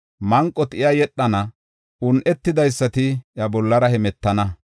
Manqoti iya yedhana un7etidaysati iya bollara hemetana.